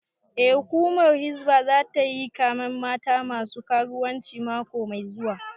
Eh, hukumar hizba zata yi kamen mata masu karuwanci mako mai zuwa